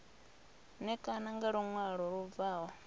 ṋekane nga luṅwalo lu bvaho